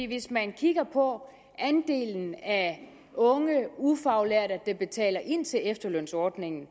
hvis man kigger på andelen af unge ufaglærte der betaler ind til efterlønsordningen